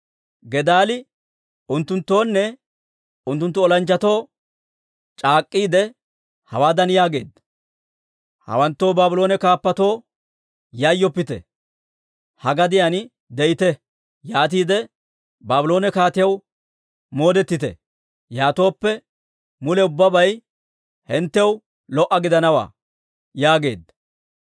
Gedaalii unttunttoonne unttunttu olanchchatoo c'aak'k'iide, hawaadan yaageedda; «Hawanttoo Baabloone kaappatoo yayyoppite. Ha gadiyaan de'ite; yaatiide Baabloone kaatiyaw moodetite. Yaatooppe mule ubbabay hinttew lo"a gidanawaa» yaageedda.